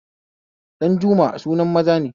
Dajummai sunan maza